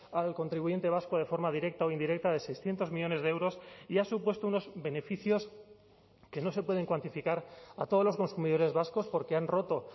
al contribuyente vasco de forma directa o indirecta de seiscientos millónes de euros y ha supuesto unos beneficios que no se pueden cuantificar a todos los consumidores vascos porque han roto